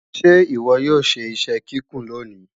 Ṣé ìwọ yóò ṣe iṣẹ kíkùn lóní?